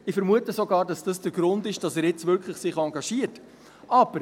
Ich vermute sogar, dass das der Grund ist, dass er jetzt wirklich engagiert ist.